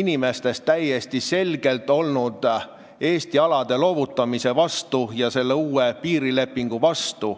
inimestest täiesti selgelt olnud Eesti alade loovutamise ja uue piirilepingu vastu.